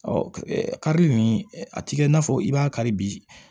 Ɔ karili nin a ti kɛ i n'a fɔ i b'a kari bi